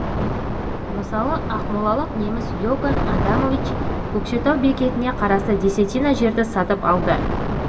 мысалы ақмолалық неміс иоганн адамович көкшетау бекетіне қарасты десятина жерді сатып алды